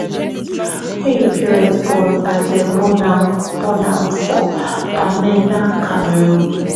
wey im parent born and dem born am born am for bamenda cameroon